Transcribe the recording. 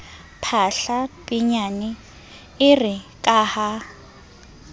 phahla pinyane ere ka ha